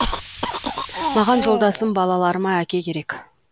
маған жолдасым балаларыма әке керек